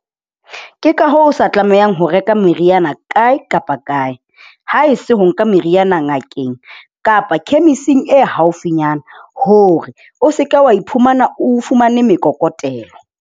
Ke ka hoo o sa tlamehang ho reka meriana kae kapa kae ha e se ho nka meriana ngakeng kapa khemising e haufinyana hore o se ke wa iphumana o fumane mekokotelo.